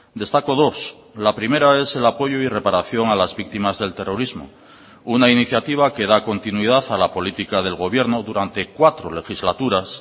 destaco dos la primera es el apoyo y reparación a las víctimas del terrorismo una iniciativa que da continuidad a la política del gobierno durante cuatro legislaturas